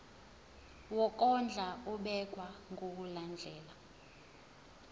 wokondla ubekwa ngokulandlela